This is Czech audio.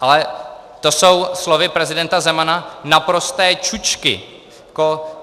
Ale to jsou slovy prezidenta Zemana naprosté čučky.